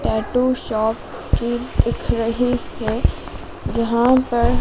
tattoo shop की दिख रही है जहां पर--